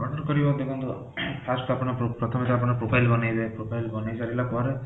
order କରିବ first ଆପଣ ପ୍ରଥମେ ତ ଆପଣ profile ବନେଇବେ profile ବନେଇ ସାରିଲା ପରେ